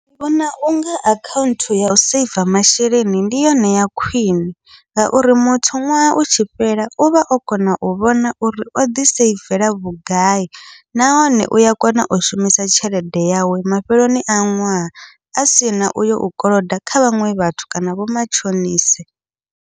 Ndi vhona unga akhaunthu yau saver masheleni ndi yone ya khwiṋe, ngauri muthu ṅwaha u tshi fhela uvha o kona u vhona uri o ḓi saivela vhugai, nahone uya kona u shumisa tshelede yawe mafheloni a ṅwaha a sina uyo u koloda kha vhaṅwe vhathu kana vho matshonise.